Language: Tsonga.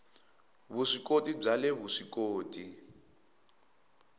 vuswikoti bya le vusw ikoti